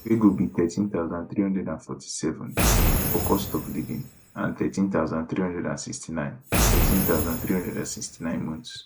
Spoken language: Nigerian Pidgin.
wey go be 13347 for cost of living and 1136 9 1136 9 months